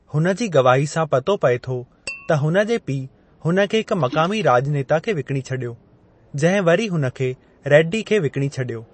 हुन जी गवाही सां पतो पए थो त हुनजे पिउ हुन खे हिकु मक़ामी राज॒नेता खे विकणी छडि॒यो, जंहिं वरी हुन खे रेड्डी खे विकणी छडि॒यो।